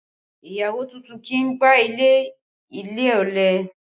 Ìyàwó tuntun kì í gbá ilẹ̀ ilé, ọ̀lẹ